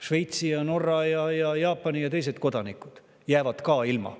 Šveitsi, Norra, Jaapani ja teiste kodanikud jäävad ka sellest ilma.